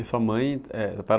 E sua mãe é